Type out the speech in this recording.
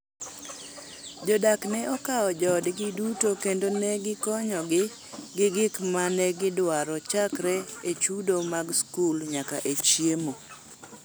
Jodak ne okawo joodgi duto kendo ne gikonyogi gi gik ma ne gidwaro chakre e chudo mag skul nyaka e chiemo.